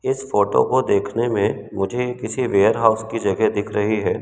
इस फोटो को देखने में मुझे किसी वेयर हाउस की जगह दिख रही है।